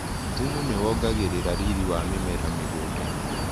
Thumu nĩwongagĩrĩra riri wa mĩmera mĩgundainĩ.